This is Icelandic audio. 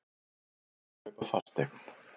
Erfiðara að kaupa fasteign